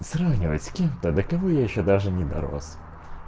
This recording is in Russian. сравнивать с кем-то до кого я ещё даже не дорос